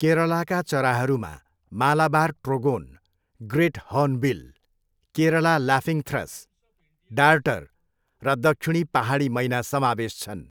केरलाका चराहरूमा Malabar trogon, great hornbill, Kerala laughingthrush, darter र दक्षिणी पाहाडी मैना समावेश छन्।